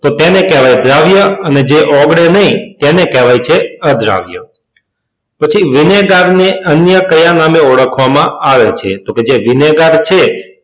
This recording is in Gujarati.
તો તેને કહેવાય દ્રાવ્ય અને જે ઓગળે નહીં તેને કહેવાય છે અદ્રાવ્ય. પછી વિનેગરને અહીંયા કયા નામથી ઓળખવામાં આવે છે? તો જે વિનેગર છે,